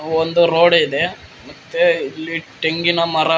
ಒಂದು ರೋಡು ಇದೆ ಮತ್ತೆ ಇಲ್ಲಿ ತೆಂಗಿನ ಮರ--